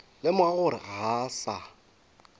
lemoga gore ga a sa